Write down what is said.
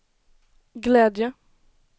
glädje